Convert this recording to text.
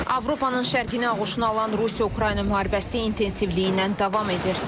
Avropanın şərqini ağuşuna alan Rusiya-Ukrayna müharibəsi intensivliyindən davam edir.